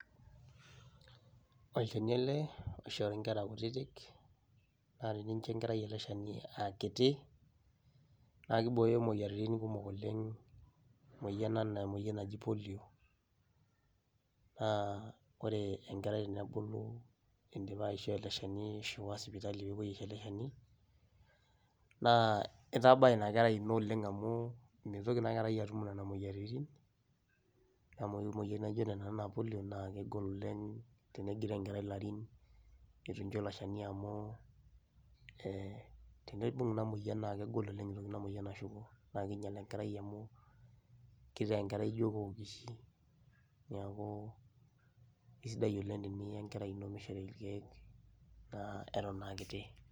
Olchani ele oishori inkera kutitik naa tenincho enkerai ele shani aa kiti naa kibooyo moyiaritin kumok oleng', emoyian enaa emoyian naji polio naa kore enkerai tenebulu indipa aishoo ele shani ashu iwaa sipitali peepuoi aisho ele shani naa itabaa ina kerai ino oleng' amu mitoki ina kerai atum nena moyiaritin amu ore emoyian naijo ena naa polio naake kegol oleng' tenegiroo enkerai ilarin itu incho ilo shani amu ee teneibung' ina moyian naake egol oleng' eeltu ina moyian ashuko naake iinyal enkerai amu kitaa enkerai opookish. Neeku kesidai oleng' teniya enkerai ino mishori irkeek naa eton aa kiti.